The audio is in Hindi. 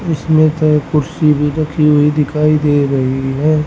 इसमें तो कुर्सी भी रखी हुई दिखाई दे रही हैं।